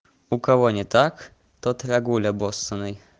у кого не так тот рогуль обоссаный